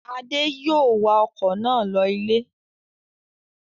Adé yòó wa ọkọ̀ náà lọ ilé